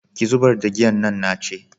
ki zubar da giyan nan na ce